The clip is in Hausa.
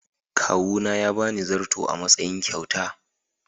Kawuna ya ba ni zarto a matsayin kyauta.